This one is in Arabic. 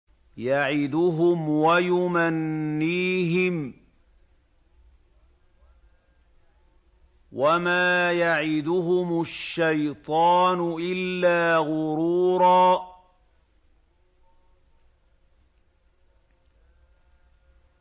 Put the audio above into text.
يَعِدُهُمْ وَيُمَنِّيهِمْ ۖ وَمَا يَعِدُهُمُ الشَّيْطَانُ إِلَّا غُرُورًا